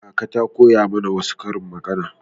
Kaka ta koya mana wasu karin magana.